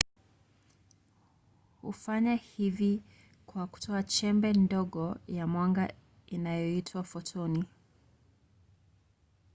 hufanya hivi kwa kutoa chembe ndogo ya mwanga inayoitwa fotoni